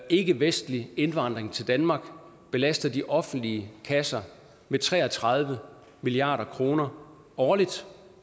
at ikkevestlig indvandring til danmark belaster de offentlige kasser med tre og tredive milliard kroner årligt